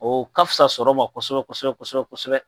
O ka fisa sɔrɔ ma kosɛbɛ kosɛbɛ kosɛbɛ kosɛbɛ